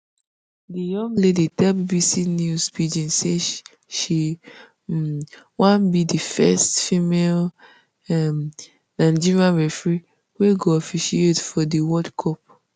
di young lady tell bbc news pidgin say she um wan be di first female um nigerian referee wey go officiate for di world cup